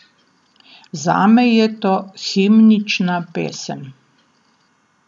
Zame je to himnična pesem.